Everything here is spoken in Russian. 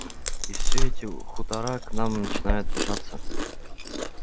и всё эти хутора к нам начинают жаться